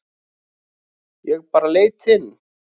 Ég bara leit inn.